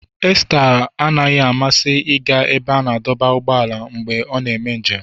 Esther adịghị amasị ịga ebe a na-adọba ụgbọala mgbe ị na-eme njem.